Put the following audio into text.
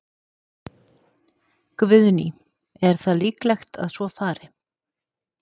Guðný: Er það líklegt að svo fari?